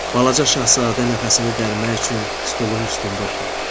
Balaca Şahzadə nəfəsini dərmək üçün stolun üstündə oturdu.